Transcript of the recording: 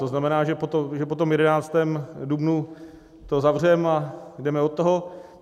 To znamená, že po tom 11. dubnu to zavřeme a jdeme od toho?